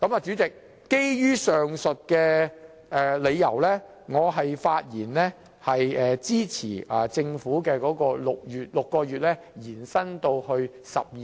主席，基於所述理由，我發言支持政府建議把時效限制由6個月延長至12個月的修正案。